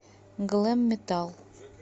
глэм метал